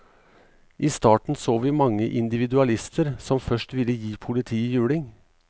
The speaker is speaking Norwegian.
I starten så vi mange individualister som først ville gi politiet juling.